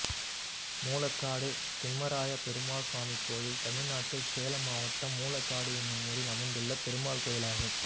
மூலக்காடு திம்மராய பெருமாள் சுவாமி கோயில் தமிழ்நாட்டில் சேலம் மாவட்டம் மூலக்காடு என்னும் ஊரில் அமைந்துள்ள பெருமாள் கோயிலாகும்